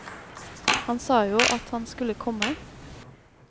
Han sa jo at han skulle komme.